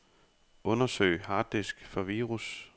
Undersøg harddisk for virus.